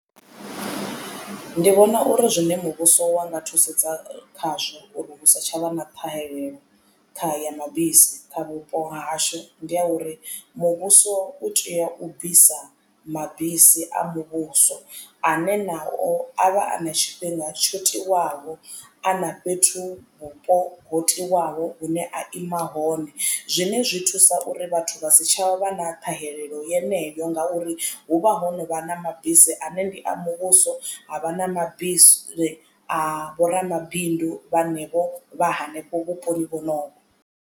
Ndi vhona uri zwine muvhuso wa nga thusedza khazwo uri hu si tshavha na ṱhahelelo ya mabisi kha vhupo hahashu ndi ya uri muvhuso u tea u bvisa mabisi a muvhuso ane nao a vha a na tshifhinga tsho tiwaho a na fhethu vhupo ho tiwaho hune a ima hone. Zwine zwi thusa uri vhathu vha si tshavha na ṱhahelelo yeneyo ngauri hu vha ho novha na mabisi ane ndi a muvhuso ha vha na mabisi a vho ramabindu vhanevho vha hanefho vhuponi vhonovho.